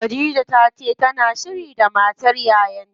Khadija tace tana shiri da matar yayan ta.